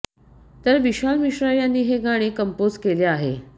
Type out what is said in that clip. तर विशाल मिश्रा यांनी हे गाणे कंपोझ केले आहे